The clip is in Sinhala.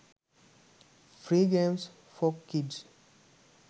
free games for kids